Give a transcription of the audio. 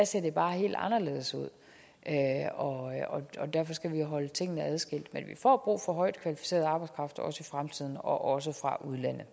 ser det bare helt anderledes ud og derfor skal vi holde tingene adskilt men vi får brug for højtkvalificeret arbejdskraft også i fremtiden og også fra